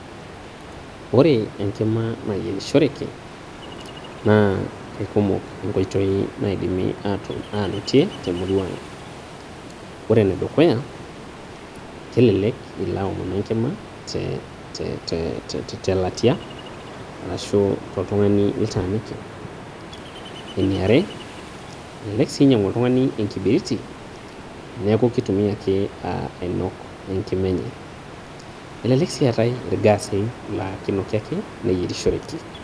Ore enkima nayierishoreki naa kaikumok inkoitoi naidimi ainotie te murua aang'. Ore ene dukuya kelelek ilo aaomonu enkima te latia arashu toltung'ani litaaniki. Eniare elelek sii enyang'u oltung'ani enkibiriti neaku keitumia ake ainok enikima enye. Elelek sii eatai ilgaasi laakeinoki ake neyierishoreki.